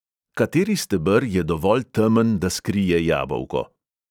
Kateri steber je dovolj temen, da skrije jabolko?